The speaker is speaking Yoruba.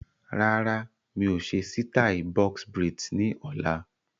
Rárá, mi ò ṣe sítai "Box braids" ni ọ̀la.